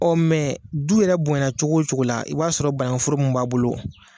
du yɛrɛ bonyana cogo o cogo la i b'a sɔrɔ banagunforo min b'a bolo